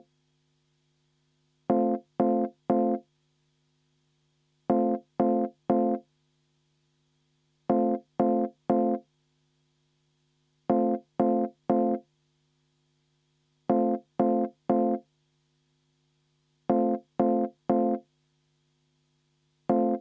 Palun paneme selle stenogrammi, et enne hääletust kümme minutit vaheaega.